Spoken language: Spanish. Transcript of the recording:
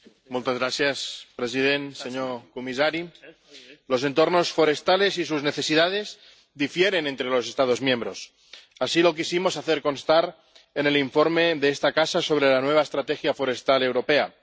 Señor presidente, señor comisario, los entornos forestales y sus necesidades difieren entre los Estados miembros. Así lo quisimos hacer constar en el informe de esta casa sobre la nueva Estrategia Forestal Europea.